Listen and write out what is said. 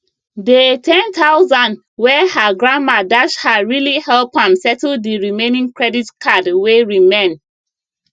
dey 10000 wey her grandma dash her really help am settle d remaining credit card wey remain